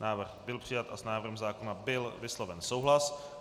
Návrh byl přijat a s návrhem zákona byl vysloven souhlas.